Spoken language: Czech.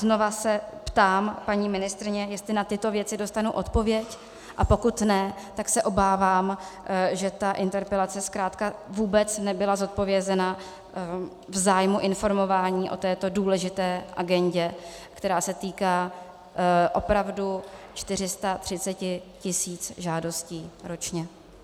Znova se ptám, paní ministryně, jestli na tyto věci dostanu odpověď, a pokud ne, tak se obávám, že ta interpelace zkrátka vůbec nebyla zodpovězena v zájmu informování o této důležité agendě, která se týká opravdu 430 tisíc žádostí ročně.